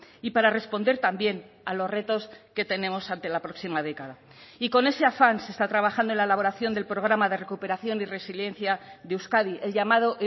y para responder también a los retos que tenemos ante la próxima década y con ese afán se está trabajando en la elaboración del programa de recuperación y resiliencia de euskadi el llamado